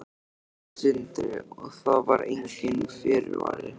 Sindri: Og það var enginn fyrirvari?